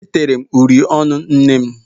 E tere uri ọnụ nnem.